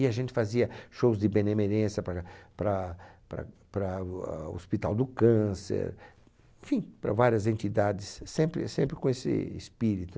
E a gente fazia shows de benemerência para para para para o a Hospital do Câncer, enfim, para várias entidades, sempre, sempre com esse espírito.